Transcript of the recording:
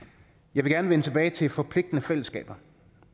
jeg vil gerne vende tilbage til forpligtende fællesskaber